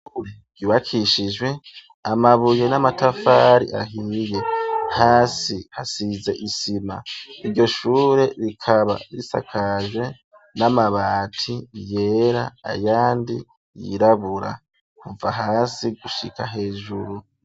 Yubakishijwe amabuye n'amatafari ahimiye hasi hasize isima iryo shure rikaba risakaje n'amabati yera ayandi yirabura kuva hasi gushika hejuru.